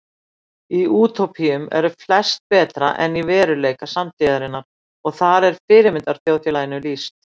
Í útópíum eru flest betra en í veruleika samtíðarinnar og þar er fyrirmyndarþjóðfélaginu lýst.